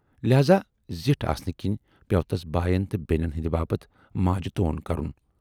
لہذا زِٹھ آسنہٕ کِنۍ پٮ۪و تَس بایَن تہٕ بینٮ۪ن ہٕندِ باپتھ ماجہِ تون کَرُن۔